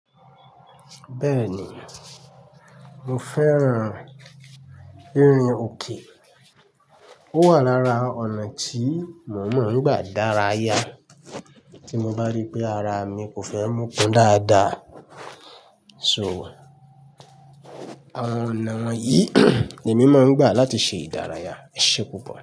Bẹ́ẹ̀ni, mo fẹ́ràn rinrin òkè. Ó wà lára ọ̀nà tí mo máa ń gbà dárayá. Tí mo bá rí pé ara mi kò fẹ́ mokun dáadáa. So, àwọn ọ̀nà wọ̀nyí ni mí máa ń gbà láti ṣe ìdárayá. Esé pupọ̀?